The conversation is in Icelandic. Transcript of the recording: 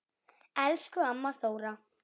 Elsku amma Þóra.